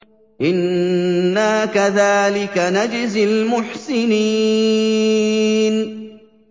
إِنَّا كَذَٰلِكَ نَجْزِي الْمُحْسِنِينَ